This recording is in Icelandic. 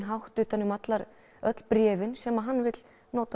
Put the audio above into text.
hátt utan um öll bréfin sem hann vill